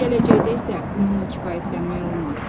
Gələcəkdə isə bununla kifayətlənmək olmaz.